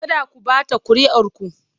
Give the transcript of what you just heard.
Kada ku ɓata kuri'ar ku!